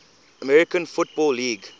american football league